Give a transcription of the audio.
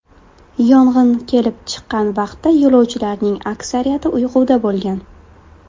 Yong‘in kelib chiqqan vaqtda yo‘lovchilarning aksariyati uyquda bo‘lgan .